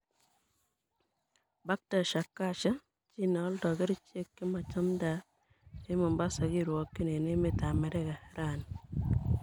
Baktash Akasha: Chi ne oldo kericheck chemachamdat en Mombasa kirwokyin en emet ab Amerika raani.